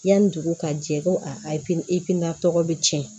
Yanni dugu ka jɛ ko a ayi ifina tɔgɔ bɛ tiɲɛ